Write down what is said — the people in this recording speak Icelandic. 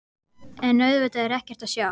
En auðvitað er ekkert að sjá.